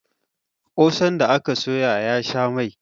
kosan ya aka soya ya sha Mai